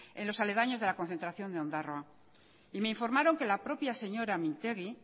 en los aledaños de la concentración de ondarroa y me informaron que la propia señora mintegi